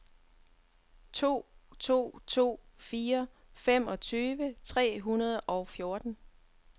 to to to fire femogtyve tre hundrede og fjorten